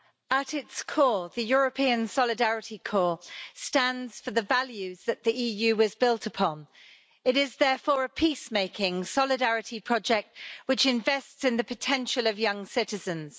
Madam President, at its core, the European Solidarity Corps stands for the values that the EU was built upon. It is therefore a peace making solidarity project, which invests in the potential of young citizens.